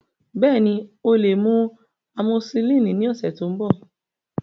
Bẹẹni, o le mu amosillini ni ọsẹ to nbọ.